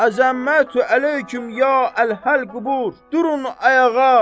Əzəmətü əleykum ya əhləl-qubur! Durun ayağa!